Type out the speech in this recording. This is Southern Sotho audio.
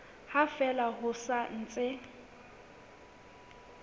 ha fela ho sa ntse